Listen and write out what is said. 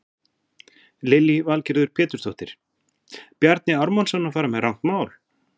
Lillý Valgerður Pétursdóttir: Bjarni Ármannsson að fara með rangt mál?